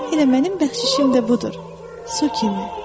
Elə mənim bəxşişim də budur, su kimi.